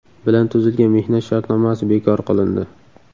bilan tuzilgan mehnat shartnomasi bekor qilindi.